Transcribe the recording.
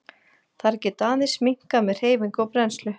Þær geta aðeins minnkað með hreyfingu og brennslu.